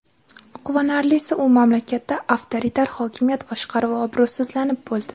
Quvonarlisi, u mamlakatlarda avtoritar hokimiyat boshqaruvi obro‘sizlanib bo‘ldi.